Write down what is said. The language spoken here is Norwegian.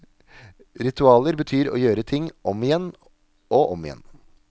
Ritualer betyr å gjøre ting om igjen og om igjen.